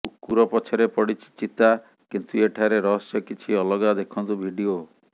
କୁକୁର ପଛରେ ପଡ଼ିଛି ଚିତା କିନ୍ତୁ ଏଠାରେ ରହସ୍ୟ କିଛି ଅଲଗା ଦେଖନ୍ତୁ ଭିଡିଓ